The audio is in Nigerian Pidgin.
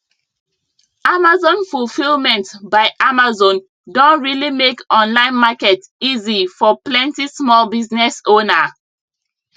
amazon fulfilment by amazon don really make online market easy for plenty small business owner